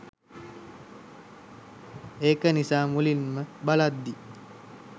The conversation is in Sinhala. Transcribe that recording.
ඒක නිසා මුලින්ම බලද්දී